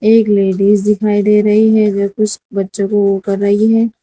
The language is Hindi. एक लेडिस दिखाई दे रही है जो कुछ बच्चों को कर रही है।